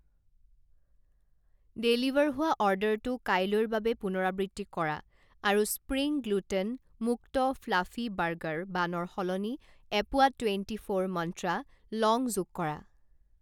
Deliver হোৱা অৰ্ডাৰটো কাইলৈৰ বাবে পুনৰাবৃত্তি কৰা আৰু স্প্ৰিং গ্লুটেন মুক্ত ফ্লাফি বাৰ্গাৰ বানৰ সলনি এপোৱা টুৱেণ্টি ফ'ৰ মন্ত্ৰা লং যোগ কৰা।